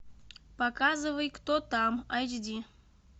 показывай кто там айч ди